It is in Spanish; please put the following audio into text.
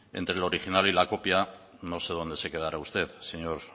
entre el original y la copia no sé dónde se quedará usted señor